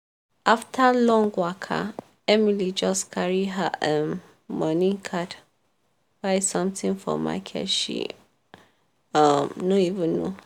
after long waka emily just carry her um money card buy something for market she um no even know.